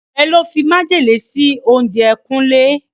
Ọ̀rẹ́ ló fi májèlé sí oúnjẹ Kúnlé.